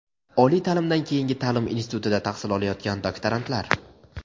oliy taʼlimdan keyingi taʼlim institutida tahsil olayotgan doktorantlar.